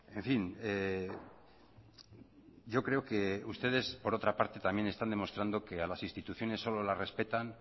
en fin yo creo que ustedes por otra parte también están demostrando que a las instituciones solo las respetan